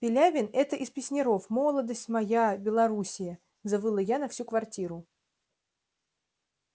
пилявин это из песняров молодость моя белоруссия завыла я на всю квартиру